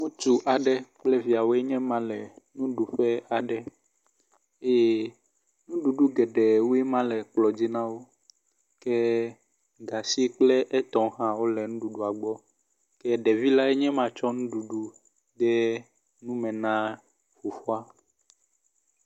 Ŋutsu aɖe kple viawoe nye ma le nuɖuƒe aɖe eye nuɖuɖu geɖewoe ma le kplɔ dzi na wo ke gatsikple etɔwo hã wo le nuɖuɖua gbɔ ke ɖevi lae nye ma tsɔ nuɖuɖu de nu me na fofoa.